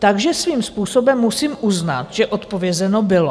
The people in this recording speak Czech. Takže svým způsobem musím uznat, že odpovězeno bylo.